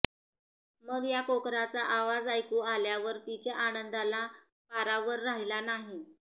मग या कोकराचा आवाज ऐकू आल्यावर तिच्या आनंदाला पारावर राहिला नाही